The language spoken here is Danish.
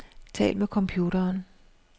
Tal med computeren.